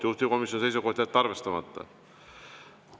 Juhtivkomisjoni seisukoht: jätta arvestamata.